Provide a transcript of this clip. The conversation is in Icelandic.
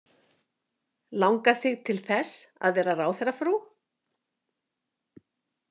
Langar þig til þess að vera ráðherrafrú?